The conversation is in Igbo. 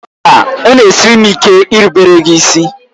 Mba! Ọ na-esiri m ike irubere gị isi.